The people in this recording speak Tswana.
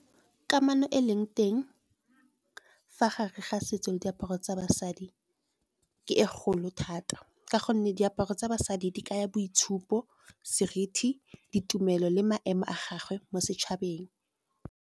Kamano e leng teng fa gare ga setso le diaparo tsa basadi ke e golo thata. Ka gonne diaparo tsa basadi, di kaya boitshupo, seriti, ditumelo le maemo a gagwe mo setšhabeng.